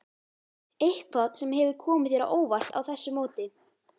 Eitthvað sem hefur komið þér á óvart á þessu móti?